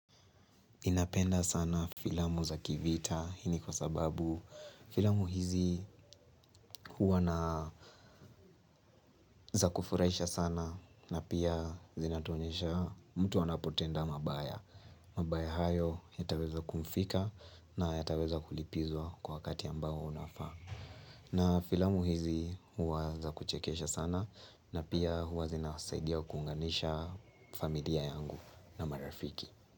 Napenda sana filamu za kivita hii ni kwa sababu filamu hizi huwa na za kufurahisha sana na pia zinatuonyesha mtu anapotenda mabaya. Mabaya hayo yataweza kumfika na yataweza kulipizwa kwa wakati ambao unafaa. Na filamu hizi huwa za kuchekesha sana na pia huwa zinasaidia kuunganisha familia yangu na marafiki.